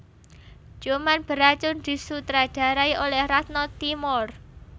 Ciuman Beracun disutradarai oleh Ratno Timoer